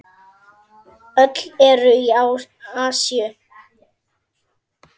Öll eru í Asíu.